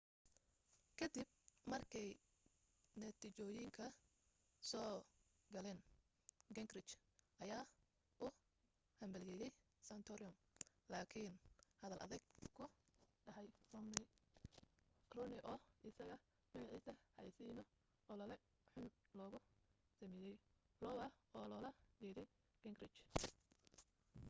ka dib markay natiijooyinka soo galeen gingrich ayaa u hambalyaayay santorum lakin hadal adag ku dhahay romney oo isaga magaciisa xayaysiino olole xun logu samayay iowa oo lola jeeday gingrich